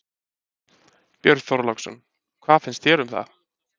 Björn Þorláksson: Hvað finnst þér um það?